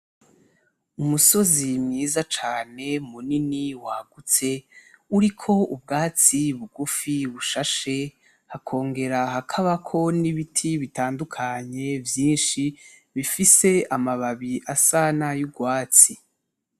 Umusozi mwiza cane munini wagutse uriko ubwatsi bugufi bushashe hakogera hakabako n'ibiti bitadukanye vyinshi bifise amababi asa nay'urwatsi.